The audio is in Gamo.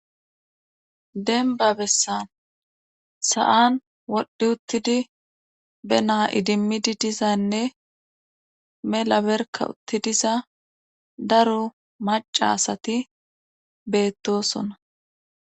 denba bessan sa7an wodhdhi uttidi be naa idimmidi dizaynne mela berka uttidiza daro macasati beettosona